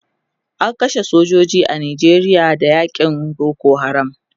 an kashe sojoji a Nijeria Da yakin Boko haram